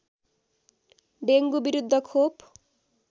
dengue विरुद्ध खोप